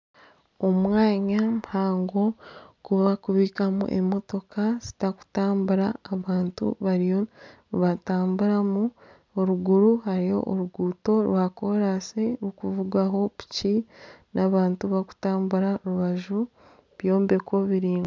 Omwanya muhango ogu barikubiikamu emotoka zitarikutambura abantu bariyo nibatamburamu eriguru hariyo oruguuto rwa kolansi rurikuvugwaho piki n'abantu barikutambura aharubaju rw'ebyombeko biraingwa.